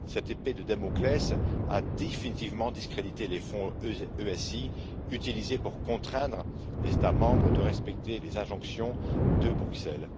Cette épée de Damoclès a définitivement discrédité les Fonds ESI, utilisés pour contraindre les États membres à respecter les injonctions de Bruxelles.